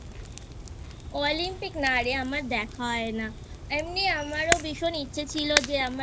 Olympic না রে আমার দেখা হয় না এমনি আমারও ভীষণ ইচ্ছে ছিল যে